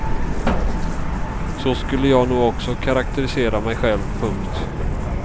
Så skulle jag nog också karakterisera mig själv. punkt